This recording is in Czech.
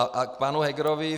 A k panu Hegerovi.